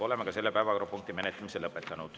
Oleme ka selle päevakorrapunkti menetlemise lõpetanud.